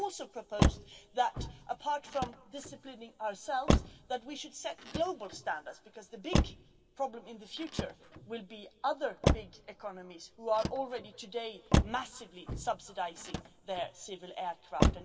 We have also proposed that, apart from disciplining ourselves, we should set global standards, because the big problem in the future will be other big economies who are already today massively subsidising their civil aircraft.